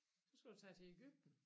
Så skal du tage til Egypten